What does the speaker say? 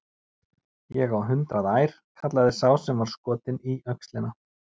Ég á hundrað ær, kallaði sá sem var skotinn í öxlina.